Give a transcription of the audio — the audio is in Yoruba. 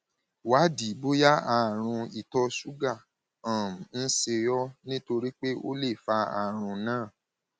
wádìí bóyá àrùn ìtọ ṣúgà um ń ṣe ọ nítorí pé ó lè fa àrùn náà